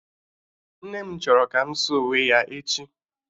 Nne m chọrọ ka m saa uwe ya echi